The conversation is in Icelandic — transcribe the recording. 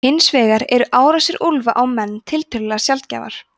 hins vegar eru árásir úlfa á menn tiltölulega sjaldgæfar